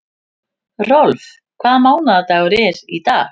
Rolf, hvaða mánaðardagur er í dag?